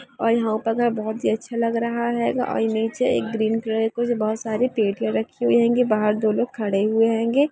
और ये ऊपर का घर बहुत ही अच्छा आग रहा हेगा और ये निचे ग्रीन कलर का बहुत सारी प्लेट रखी हुई हेगी बहार दोलोग कहदे हेगे